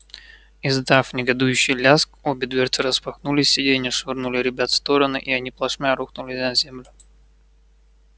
издав негодующий лязг обе дверцы распахнулись сиденья швырнули ребят в стороны и они плашмя рухнули на землю